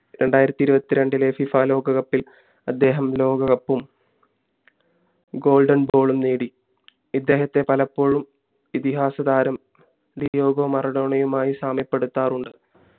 രണ്ടായിരത്തി ഇരുവതി രണ്ടു ഇലെ ഫിഫ ലോക cup ൽ അദ്ദേഹം ലോക cup goldenball നേടി ഇദ്ദേഹത്തെ പലപ്പോഴും ഇതിഹാസതാരം ഡിയാഗോ മറൊഡോണയുമായി സാമ്യപ്പെടുത്താറുണ്ട്